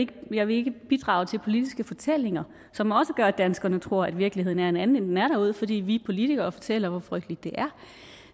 jeg vil ikke bidrage til politiske fortællinger som også gør at danskerne tror at virkeligheden er en anden end den er derude fordi vi politikere fortæller hvor frygteligt